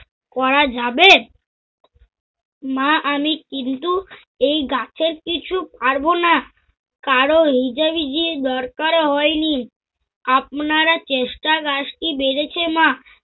করা যাবে? মা আমি কিন্তু এই গাছের কিছু ছাড়ব না। কারো হিজিবিজির দরকার হয় নি। আপনারা চেষ্টায় গাছ কি বেড়েছে মা?